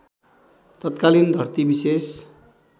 तत्कालीन धरती विशेष